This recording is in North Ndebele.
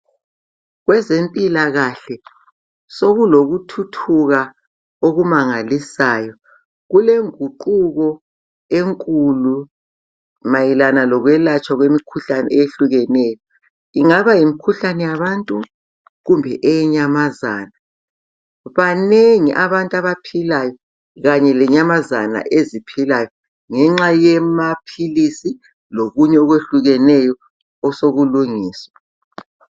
Kwezempilakahle sokulokuthuthuka okumangalisayo, kule nguquko enkulu mayelana lokwelatshwa kwemikhuhlane eyehlukeneyo. Kungaba yimkhuhlane yabantu kumbe eyenyamazana. Banengi abantu abaphilayo kanye lenyamazana eziphilayo ngenxa yemaphilisi lokunye okwehlukeneyo osoku lungiswa.